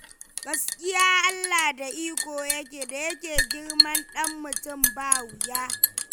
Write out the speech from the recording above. Gaskiya Allah da iko yake, da yake girman ɗan mutum ba wuya.